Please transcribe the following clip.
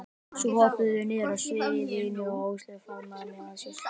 Svo hoppuðum við niður af sviðinu og Áslaug faðmaði mig að sér.